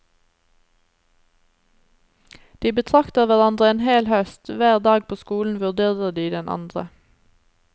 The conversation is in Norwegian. De betrakter hverandre en hel høst, hver dag på skolen vurderer de den andre.